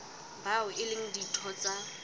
bao e leng ditho tsa